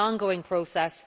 It is an ongoing process.